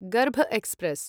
गर्भ एक्स्प्रेस्